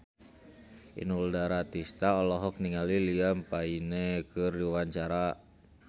Inul Daratista olohok ningali Liam Payne keur diwawancara